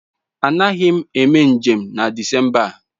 Anaghị m eme njem na Disemba a.